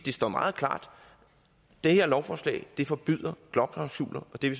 står meget klart det her lovforslag forbyder jobklausuler og det